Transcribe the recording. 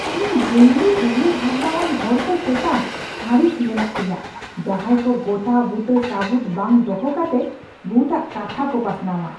ᱤᱧ ᱡᱩᱝᱞᱤ ᱩᱭᱦᱟᱹᱨ ᱵᱷᱟᱵᱱᱟᱣᱟᱱ ᱦᱚᱲ ᱠᱚ ᱪᱮᱛᱟᱱ ᱟᱹᱲᱤᱥ ᱢᱮᱱᱟᱜ ᱛᱤᱧᱟᱹ, ᱡᱟᱦᱟᱸᱭ ᱠᱚ ᱜᱚᱴᱟᱼᱵᱩᱴᱟᱹ ᱥᱟᱹᱵᱩᱫᱽ ᱵᱟᱝ ᱫᱚᱦᱚ ᱠᱟᱛᱮ ᱵᱷᱩᱛᱟᱜ ᱠᱟᱛᱷᱟ ᱠᱚ ᱯᱟᱥᱱᱟᱣᱼᱟ ᱾